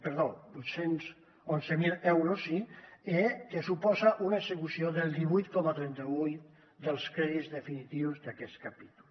perdó vuit cents i onze mil euros sí que suposa una execució del divuit coma trenta vuit dels crèdits definitius d’aquest capítol